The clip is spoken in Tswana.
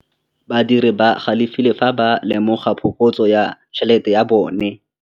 Badiri ba galefile fa ba lemoga phokotsô ya tšhelête ya bone.